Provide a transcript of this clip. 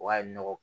O y'a ye nɔgɔ